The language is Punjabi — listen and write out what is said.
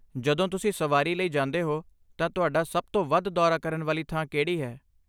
ਜਦੋਂ ਤੁਸੀਂ ਸਵਾਰੀ ਲਈ ਜਾਂਦੇ ਹੋ ਤਾਂ ਤੁਹਾਡਾ ਸਭ ਤੋਂ ਵੱਧ ਦੌਰਾ ਕਰਨ ਵਾਲੀ ਥਾਂ ਕਿਹੜੀ ਹੈ?